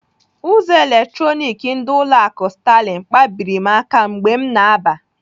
Ụzọ eletronik ndị ụlọ akụ Sterling kpabiri m aka mgbe m na-aba.